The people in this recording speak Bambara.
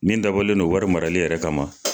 Nin dabɔlen don wari marali yɛrɛ kama.